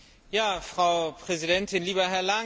Frau Präsidentin, lieber Herr Langen!